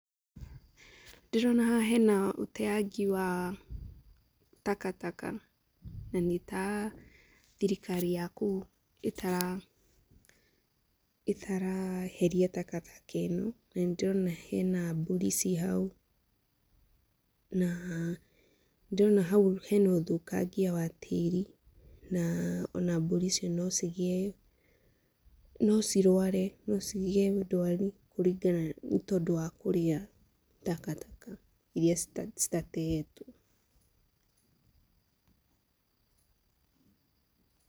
Ndĩrona haha hena ũteangi wa takataka, na nĩta thirikari ya kũu, ĩtara ĩtaraheria takataka ĩno, na nĩ ndĩrona hena mbũri ciĩ hau, na ndĩrona hau hena ũthũkangia wa tĩri, na ona mbũri icio no cigĩe, no cirware, no cigĩe ndwari kũringana, tondũ wa kũria takataka iria citatetwo.